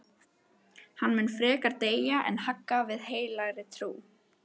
Hann mun frekar deyja en hagga við heilagri trú.